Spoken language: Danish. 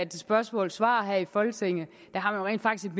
til spørgsmålsvar her i folketinget rent faktisk